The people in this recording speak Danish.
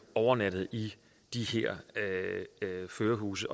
overnattet i de her førerhuse